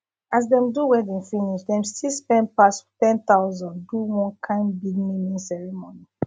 as dem do wedding finish dem still spend pass 10000 do one kind big naming ceremony